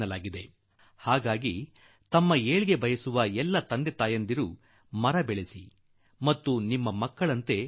ಆದುದರಿಂದ ತಮ್ಮ ಅನುಕೂಲಕ್ಕಾಗಿ0iÉುೀ ತಂದೆ ತಾಯಿಗಳು ಒಳ್ಳೆಯ ಮರಗಳನ್ನು ನೆಡಲಿ ಮತ್ತು ಅವನ್ನು ತಮ್ಮ ಮಕ್ಕಳೊಪಾದ